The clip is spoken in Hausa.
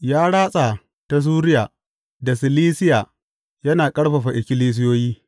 Ya ratsa ta Suriya da Silisiya, yana ƙarfafa ikkilisiyoyi.